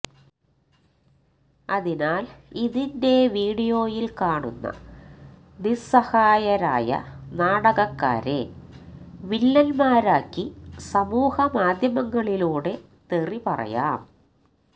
അതിനാൽ ഇതിന്റെ വീഡിയോയിൽ കാണുന്ന നിസ്സഹായരായ നാടകക്കാരെ വില്ലൻമാരാക്കി സമൂഹ മാദ്ധ്യമങ്ങളിലൂടെ തെറി പറയാം